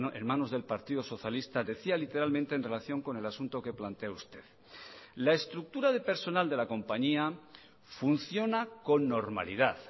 en manos del partido socialista decía literalmente en relación con el asunto que plantea usted la estructura de personal de la compañía funciona con normalidad